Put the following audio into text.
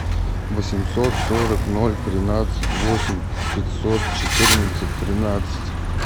восемьсот сорок ноль тринадцать восемь пятьсот четырнадцать тринадцать